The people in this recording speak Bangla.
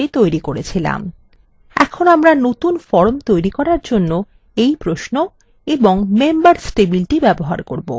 এখন আমরা নতুন form তৈরি করার জন্য এই প্রশ্ন এবং members টেবিলটি ব্যবহার করব